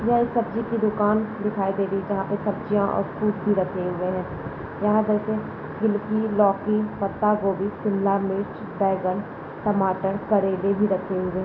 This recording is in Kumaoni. यह एक सब्जी की दुकान दिखाई दे रही है जहाँ पे सब्जियां और फ्रूट भी रखे हुए हैं यहाँ पे लौकी पत्ता गोबी शिमला मिर्च बैगन टमाटर करेले भी रखे हुए हैं।